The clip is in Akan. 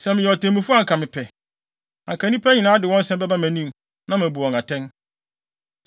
Sɛ meyɛ otemmufo anka mepɛ. Anka nnipa de wɔn nsɛm bɛba mʼanim, na mabu wɔn atɛn.”